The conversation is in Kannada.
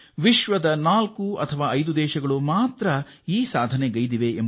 ವಿಶ್ವದಲ್ಲಿ ಕೇವಲ ನಾಲ್ಕು ಅಥವಾ ಐದು ರಾಷ್ಟ್ರಗಳು ಮಾತ್ರವೇ ಈ ಸಾಮರ್ಥ್ಯವನ್ನು ಹೊಂದಿವೆ